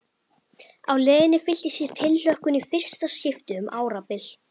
Á leiðinni fylltist ég tilhlökkun í fyrsta skipti um árabil.